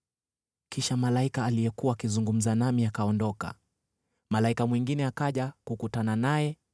Kisha malaika aliyekuwa akizungumza nami akaondoka, malaika mwingine akaja kukutana naye